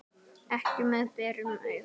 Ekki með berum augum.